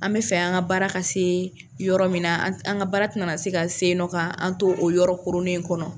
An bɛ fɛ an ka baara ka se yɔrɔ min na an ka baara tɛna na se ka se ye nɔ ka an to o yɔrɔ kooronen in kɔnɔ.